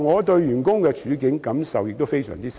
對於員工的處境，我的感受也非常深。